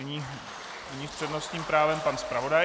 Nyní s přednostním právem pan zpravodaj.